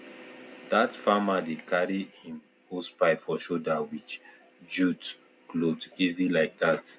that farmer dey carry im hosepipe for shoulder with jute clothe easy like that